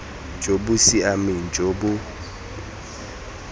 jo bo siameng jo bo